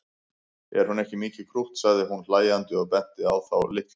Er hún ekki mikið krútt sagði hún hlæjandi og benti á þá litlu.